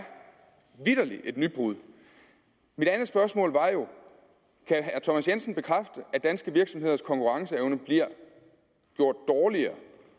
vitterlig et nybrud mit andet spørgsmål var jo kan herre thomas jensen bekræfte at danske virksomheders konkurrenceevne bliver gjort dårligere